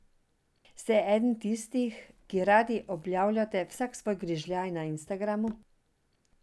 Ste eden tistih, ki radi objavljate vsak svoj grižljaj na Instagramu?